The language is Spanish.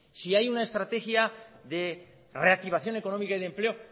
si hay una estrategia de reactivación económica y empleo